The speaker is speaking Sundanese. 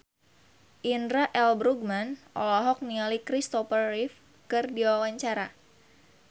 Indra L. Bruggman olohok ningali Christopher Reeve keur diwawancara